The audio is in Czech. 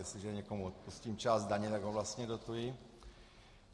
Jestliže někomu odpustím část daně, tak ho vlastně dotuji.